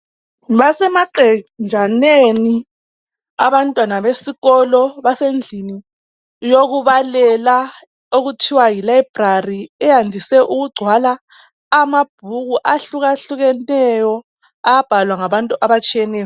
Basemaqenjaneni abantwana besikolo, basendlini yokubalela okuthiwa yi library eyandise ukugcwala amabhuku ahlukahlukeneyo abhalwa ngabantu abatshiyeneyo